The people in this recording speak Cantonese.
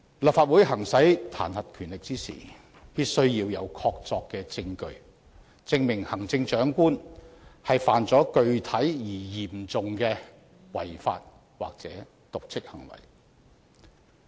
立法會行使彈劾權力時，必須要有確鑿證據，證明行政長官犯了具體而嚴重的違法或瀆職行為。